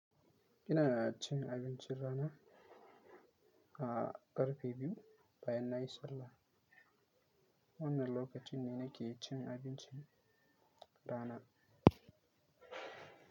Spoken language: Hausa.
Ina cin abincin rana a ƙarfe biyu bayan na yi sallah. Wannan lokaci ne na ke cin abincin rana.